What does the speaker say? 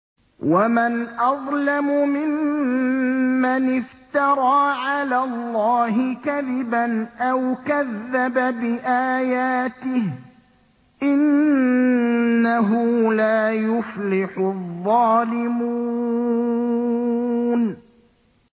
وَمَنْ أَظْلَمُ مِمَّنِ افْتَرَىٰ عَلَى اللَّهِ كَذِبًا أَوْ كَذَّبَ بِآيَاتِهِ ۗ إِنَّهُ لَا يُفْلِحُ الظَّالِمُونَ